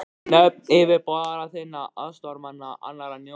Nöfn yfirboðara þinna, aðstoðarmanna, annarra njósnara.